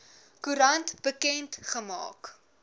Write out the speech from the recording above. koerant bekend gemaak